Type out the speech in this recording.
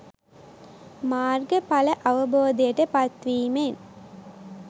මාර්ග ඵල අවබෝධයට පත් වීමෙන්